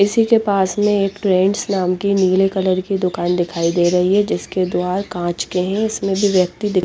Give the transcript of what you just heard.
इसी के पास में एक टूवेंट्स नाम की नील कलर की दूकान दिखाई दे रही हे जिसके द्वार कांच के है इसमें भी व्यक्ति दि--